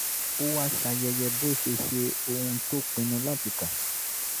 ó wá ṣayẹyẹ bó ṣe ṣe ohun tó pinnu láti kà